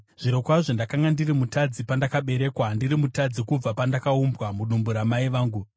Zvirokwazvo ndakanga ndiri mutadzi pandakaberekwa, ndiri mutadzi kubva pandakaumbwa mudumbu ramai vangu.